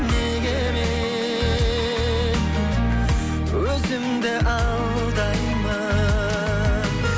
неге мен өзімді алдаймын